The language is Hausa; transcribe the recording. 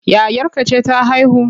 Yayarka ce ta haihu?